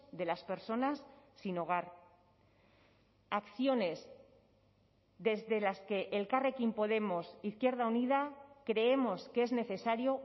de las personas sin hogar acciones desde las que elkarrekin podemos izquierda unida creemos que es necesario